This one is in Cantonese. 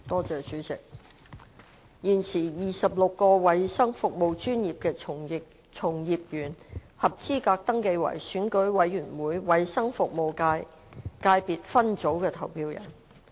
主席，現時 ，26 個衞生服務專業的從業員合資格登記為選舉委員會衞生服務界界別分組的投票人。